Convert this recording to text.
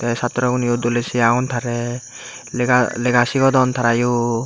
te sat torow guneyo dolay say aagon taray lega lega sigodon tara yo.